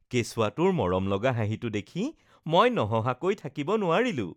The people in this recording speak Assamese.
কেঁচুৱাটোৰ মৰমলগা হাঁহিটো দেখি মই নহঁহাকৈ থাকিব নোৱাৰিলোঁ৷